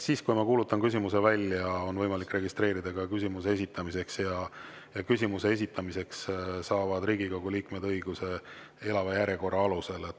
Kui ma kuulutan küsimuse välja, siis on võimalik registreeruda ka küsimuse esitamiseks ja küsimuse esitamiseks saavad Riigikogu liikmed õiguse elava järjekorra alusel.